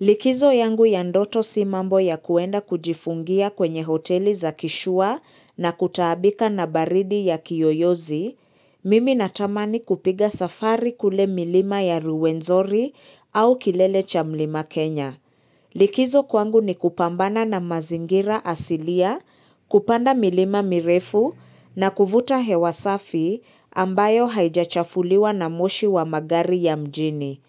Likizo yangu ya ndoto si mambo ya kuenda kujifungia kwenye hoteli za kishua na kutaabika na baridi ya kiyoyozi, mimi natamani kupiga safari kule milima ya ruwenzori au kilele cha mlima Kenya. Likizo kwangu ni kupambana na mazingira asilia, kupanda milima mirefu na kuvuta hewa safi ambayo haijachafuliwa na moshi wa magari ya mjini.